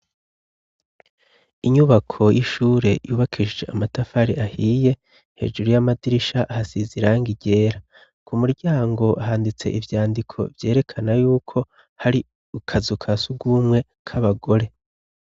Inyubako y'ishure yubakeshije amatafari ahiye. Hejuru y'amadirisha hasize irangi ryera. Ku muryango handitse ivyandiko vyerekana yuko hari akazu kasurwumwe k'abagore.